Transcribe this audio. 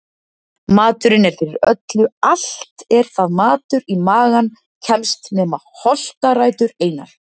Maturinn er fyrir öllu allt er það matur í magann kemst nema holtarætur einar.